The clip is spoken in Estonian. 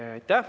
Aitäh!